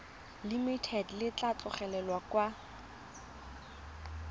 limited le tla tlhagelela kwa